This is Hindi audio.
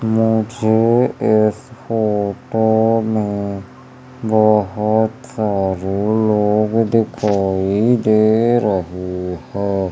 मुझे इस फोटो में बहोत सारे लोग दिखाई दे रहे है।